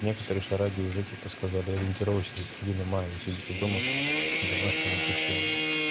некоторые шараги уже типа сказали ориентировочно до середины мая вы сидите дома в домашнем обучении